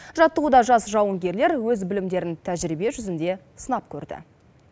жаттығуда жас жауынгерлер өз білімдерін тәжірибе жүзінде сынап көрді